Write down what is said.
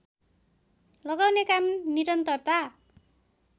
लगाउने काम निरन्तरता